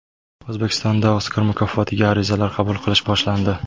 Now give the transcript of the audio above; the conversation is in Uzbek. O‘zbekistonda Oskar mukofotiga arizalar qabul qilish boshlandi.